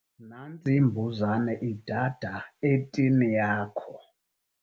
Nantsi imbuzane idada etini yakho.